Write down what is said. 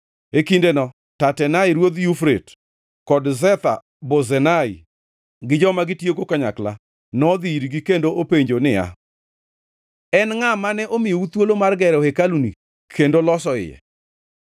E kindeno Tatenai, ruodh Yufrate, kod Shetha-Bozenai gi joma gitiyogo kanyakla nodhi irgi kendo openjo niya, “En ngʼa mane omiyou thuolo mar gero hekaluni kendo loso iye?”